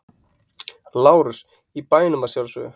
LÁRUS: Í bænum að sjálfsögðu!